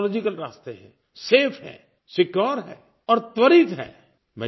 technological रास्ते हैं safe है सिक्योर है और त्वरित है